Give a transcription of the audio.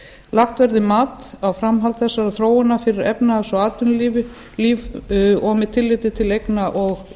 lagt verði mat á framhald þessarar þróunar fyrir efnahags og atvinnulíf og með tilliti til eigna og